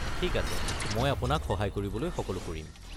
ঠিক আছে, মই আপোনাক সহায় কৰিবলৈ সকলো কৰিম।